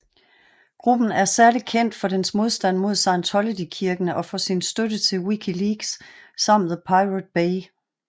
Gruppen er særlig kendt for dens modstand mod Scientologykirken og for sin støtte til Wikileaks samt The Pirate Bay